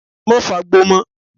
Má fagbó mọ́.